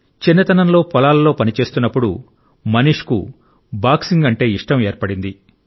చిన్నతనంలో పొలాలలో పనిచేస్తున్నప్పుడు మనీష్కు బాక్సింగ్ అంటే ఇష్టం ఏర్పడింది